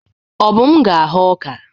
Obum ga-aghọ ọka.